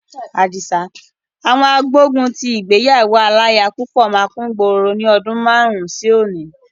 Àwọn agbógun ti ìgbéyàwó aláya púpọ̀ máa kúngboro ní ọdún márùn-ún sí òní.